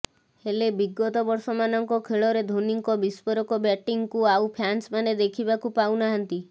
ହେଲେ ବିଗତ ବର୍ଷମାନଙ୍କ ଖେଳରେ ଧୋନୀଙ୍କ ବିସ୍ଫୋରକ ବ୍ୟାଟିଂକୁ ଆଉ ଫ୍ୟାନ୍ସମାନେ ଦେଖିବାକୁ ପାଉନାହାନ୍ତି